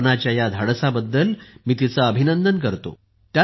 कल्पनाच्या या धाडसाबद्दल मी तिचे अभिनंदन करतो